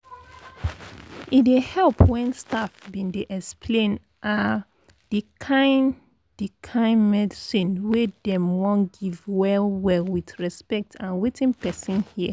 e dey help when staff bin dey explain ah the kin the kin medicine wey dem wan give well well with respect and wetin person hear